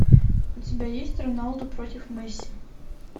у тебя есть роналду против месси